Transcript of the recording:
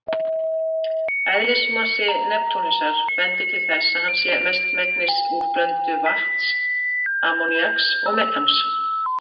Eðlismassi Neptúnusar bendir til þess að hann sé mestmegnis úr blöndu vatns, ammoníaks og metans.